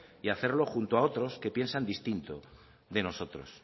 y hacerlo junto a otros que piensan distinto de nosotros